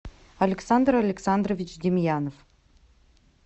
александр александрович демьянов